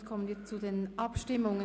Somit kommen wir zu den Abstimmungen.